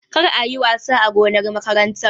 Kar kuyi wasa a gonar makarantar!